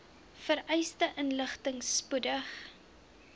vereiste inligting spoedig